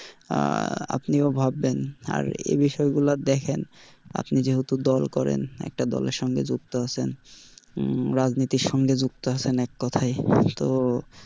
আহ আপনিও ভাববেন আর এই বিষয়গুলো দেখেন, আপনি যেহেতু দল করেন একটা দলের সঙ্গে যুক্ত আছেন রাজনীতির সঙ্গে যুক্ত আছেন এক কথায় তো,